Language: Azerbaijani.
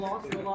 Bir dənə yol al.